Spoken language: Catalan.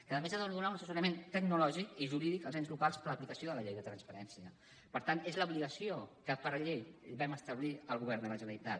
que a més ha de donar un assessorament tecnològic i jurídic als ens locals per a l’aplicació de la llei de transparència per tant és l’obligació que per llei vam establir al govern de la generalitat